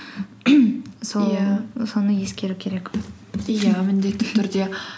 соны ескеру керек иә міндетті түрде